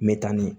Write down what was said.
Me taa ni